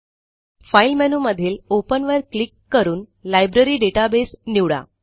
file menu मधील open वर click करून लायब्ररी डेटाबेस निवडा